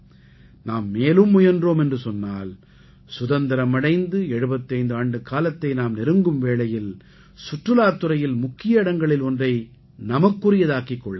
நாம் மேலும் முயன்றோம் என்று சொன்னால் சுதந்திரம் அடைந்து 75 ஆண்டுக்காலத்தை நாம் நெருங்கும் வேளையில் சுற்றுலாத் துறையில் முக்கிய இடங்களில் ஒன்றை நமக்குரியதாக்கிக் கொள்ள முடியும்